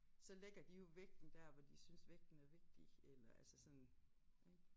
Så lægger de jo vægten dér hvor de synes vægten er vigtig eller altså sådan ik